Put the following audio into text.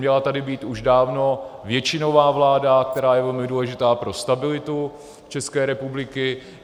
Měla tady být už dávno většinová vláda, která je velmi důležitá pro stabilitu České republiky.